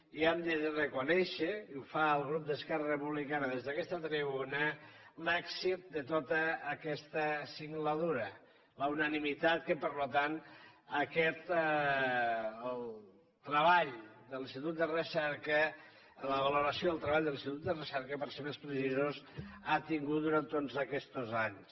i hem de reconèixer i ho fa el grup d’esquerra republicana des d’aquesta tribuna l’èxit de tota aquesta singladura la unanimitat que per tant el treball de l’institut de recerca la valoració del treball de l’institut de recerca per ser més precisos ha tingut durant tots aquests anys